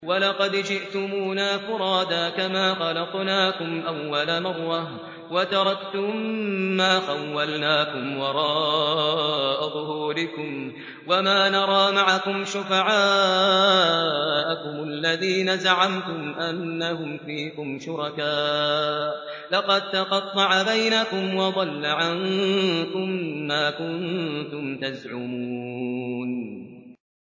وَلَقَدْ جِئْتُمُونَا فُرَادَىٰ كَمَا خَلَقْنَاكُمْ أَوَّلَ مَرَّةٍ وَتَرَكْتُم مَّا خَوَّلْنَاكُمْ وَرَاءَ ظُهُورِكُمْ ۖ وَمَا نَرَىٰ مَعَكُمْ شُفَعَاءَكُمُ الَّذِينَ زَعَمْتُمْ أَنَّهُمْ فِيكُمْ شُرَكَاءُ ۚ لَقَد تَّقَطَّعَ بَيْنَكُمْ وَضَلَّ عَنكُم مَّا كُنتُمْ تَزْعُمُونَ